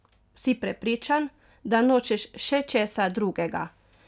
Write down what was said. Si prepričan, da nočeš še česa drugega?